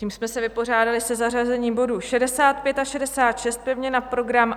Tím jsme se vypořádali se zařazením bodů 65 a 66 pevně na program.